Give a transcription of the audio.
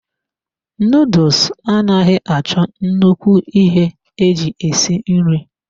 Nuduls anaghị achọ nnukwu ihe eji esi nri.